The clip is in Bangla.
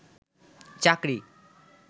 চাকরি